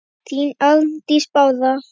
þín Arndís Bára.